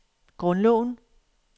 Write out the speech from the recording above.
grundloven